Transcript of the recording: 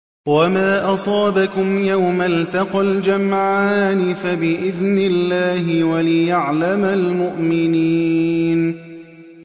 وَمَا أَصَابَكُمْ يَوْمَ الْتَقَى الْجَمْعَانِ فَبِإِذْنِ اللَّهِ وَلِيَعْلَمَ الْمُؤْمِنِينَ